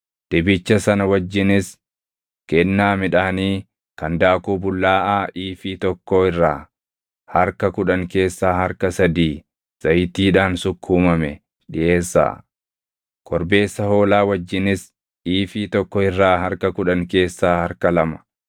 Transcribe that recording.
Dibicha sana wajjinis kennaa midhaanii kan daakuu bullaaʼaa iifii + 29:3 Iifiin tokko kiiloo giraamii 22. tokkoo irraa harka kudhan keessaa harka sadii zayitiidhaan sukkuumame dhiʼeessaa. Korbeessa hoolaa wajjinis iifii tokko irraa harka kudhan keessaa harka lama,